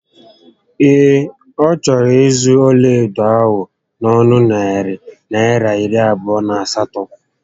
Ee, ọ chọrọ ịzụ ọlaedo ahụ n'onu narị Naịra iri abụọ na asatọ